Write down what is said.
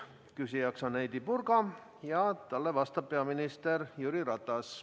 Küsijaks on Heidy Purga ja talle vastab peaminister Jüri Ratas.